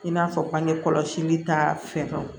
I n'a fɔ bange kɔlɔsili ta fɛw